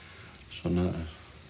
svona